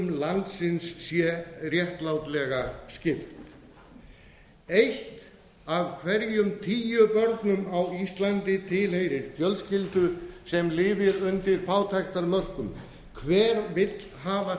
landsins sé réttlátlega skipt eitt af hverjum tíu börnum á íslandi tilheyrir fjölskyldu sem lifir undir fátæktarmörkum hver vill hafa